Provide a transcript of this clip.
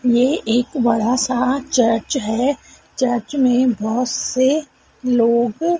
ये एक बड़ा सा चर्च है चर्च में बहोत से लोग--